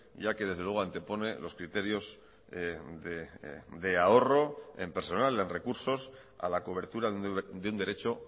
ya que desde luego antepone los criterios de ahorro en personal en recursos a la cobertura de un derecho